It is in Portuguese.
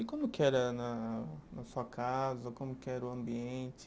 E como que era na na sua casa, como que era o ambiente?